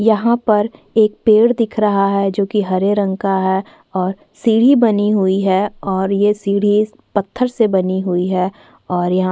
यहाँ पर एक पेड़ दिख रहा है जो कि हरे रंग का है और सीढ़ी बनी हुई है और ये सीढ़ी पत्थर से बनी हुई है और यहाँ--